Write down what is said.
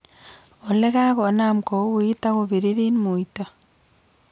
Olekakonam kowuitu ak kopiririt muito